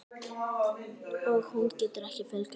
Hún getur ekki fjölgað sér.